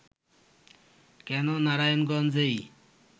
কেন নারায়ণগঞ্জেই